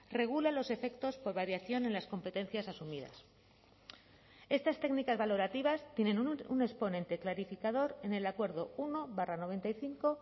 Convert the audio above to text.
regula los efectos por variación en las competencias asumidas estas técnicas valorativas tienen un exponente clarificador en el acuerdo uno barra noventa y cinco